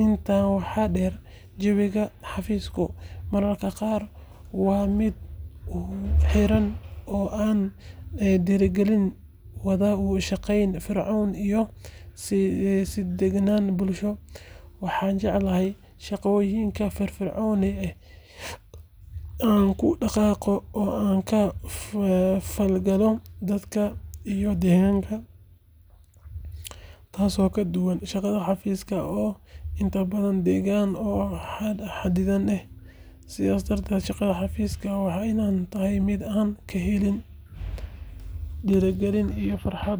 inta waxa der jawiga xafiska maraka qar waa mid xiran aan dirigalin wadashaqeyn iyoh si degnan bulsho waxan jeclahay shaqoyinka firfirconiga ah, inan kudaqaqo an kafolgalo dadka iyo deganka tasi oo kaduwan shaqadha xafiska intabdhan degan oo waxa waxa xadidan eh sidhas darded shaqada xafiska waa mid anan kahelin dirigilin iyoh farxad .